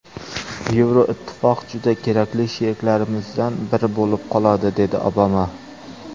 Yevroittifoq juda kerakli sheriklarimizdan biri bo‘lib qoladi”, dedi Obama.